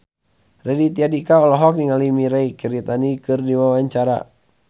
Raditya Dika olohok ningali Mirei Kiritani keur diwawancara